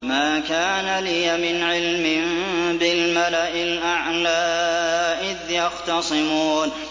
مَا كَانَ لِيَ مِنْ عِلْمٍ بِالْمَلَإِ الْأَعْلَىٰ إِذْ يَخْتَصِمُونَ